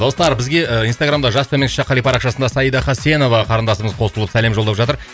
достар бізге ы инстаграмда жас төмен ш қали парақшасында саида хасенова қарындасымыз қосылып сәлем жолдап жатыр